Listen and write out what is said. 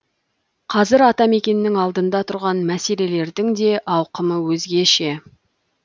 қазір атамекеннің алдында тұрған мәселелердің де ауқымы өзгеше